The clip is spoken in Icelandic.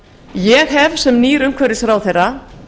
ég hef sem nýr umhverfisráðherra